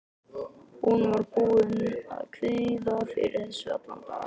Hún var búin að kvíða fyrir þessu allan daginn.